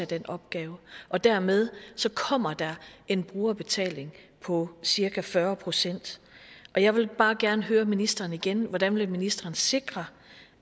den opgave og dermed kommer der en brugerbetaling på cirka fyrre procent jeg vil bare gerne høre ministeren igen hvordan vil ministeren sikre